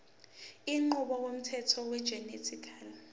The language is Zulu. inqubo yomthetho wegenetically